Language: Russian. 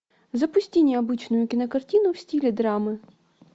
запусти необычную кинокартину в стиле драмы